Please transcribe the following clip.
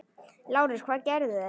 LÁRUS: Hvað gerðu þeir?